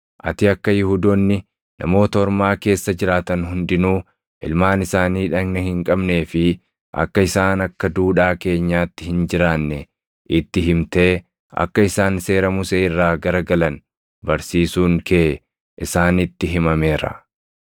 Ati akka Yihuudoonni Namoota Ormaa keessa jiraatan hundinuu ilmaan isaanii dhagna hin qabnee fi akka isaan akka duudhaa keenyaatti hin jiraanne itti himtee akka isaan seera Musee irraa gara galan barsiisuun kee isaanitti himameera.